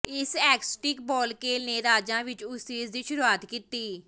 ਇਸ ਐਕਸਟਿਕ ਬਾਲਕੇਲ ਨੇ ਰਾਜਾਂ ਵਿੱਚ ਓਏਸਿਸ ਦੀ ਸ਼ੁਰੂਆਤ ਕੀਤੀ